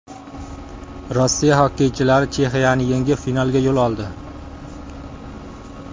Rossiya xokkeychilari Chexiyani yengib, finalga yo‘l oldi.